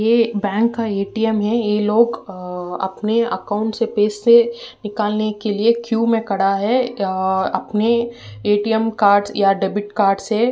यह एक बैंक का एटीएम है। ये लोग अ अपने अकाउंट से पैसे निकालने के लिए क्यू में खड़ा है। अ अपने एटीएम कार्ड या डेबिट कार्ड से।